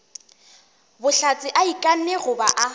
bohlatse a ikanne goba a